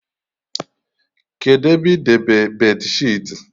Kedụ ebe idebe beedịsheetị?